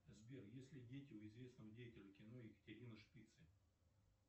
сбер есть ли дети у известного деятеля кино екатерины шпицы